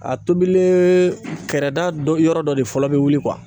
A tobilen kɛrɛda dɔ yɔrɔ dɔ de fɔlɔ bi wuli